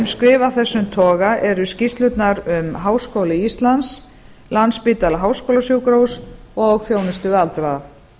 af þessum toga eru skýrslurnar um háskóla íslands landspítala háskólasjúkrahús og þjónustu við aldraða